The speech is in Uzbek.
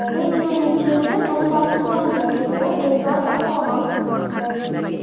Biz yo‘lning chetida to‘xtab turgandik, deydi Bekzod Asamov.